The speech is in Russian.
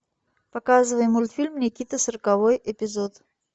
показывай мультфильм никита сороковой эпизод